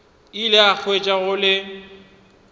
ile a hwetša go le